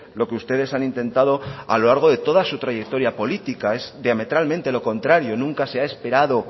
lo que ustedes han intentado a lo largo de toda su trayectoria política es diametralmente lo contrario nunca se ha esperado